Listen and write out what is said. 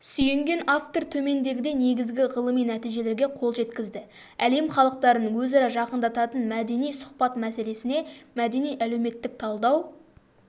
сүйенген автор төмендегідей негізгі ғылыми нәтижелерге қол жеткізді әлем халықтарын өзара жақындататын мәдени сұхбат мәселесіне мәдени-әлеуметтік талдау